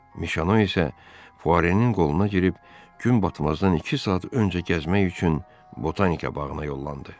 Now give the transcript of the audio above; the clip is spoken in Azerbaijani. Mişano isə Fuarenin qoluna girib gün batmazdan iki saat öncə gəzmək üçün Botanika bağına yollandı.